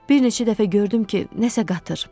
Bir neçə dəfə gördüm ki, nəsə qatır.